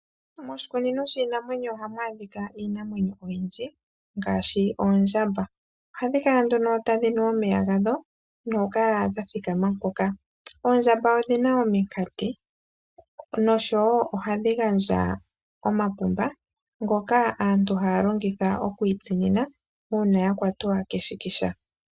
Moshikunino shiinamwenyo oha mu adhika iinamwenyo oyindji ngashi oondjamba ohadhikala nduno tadhinu omeya gadho nokukala dha thikama mpoka .Oondjamba odhina omiikate noshowo ohadhi gandja oomapumba ngoka aantu haya longitha okwitsinina uuna yakwatwa keshikisha.